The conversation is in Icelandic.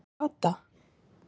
Kata